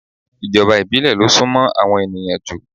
Ìjọba ìbílẹ̀ lo súnmó àwọn ènìyàn jù